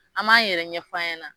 An m'an yɛrɛ ɲɛf'a ɲɛna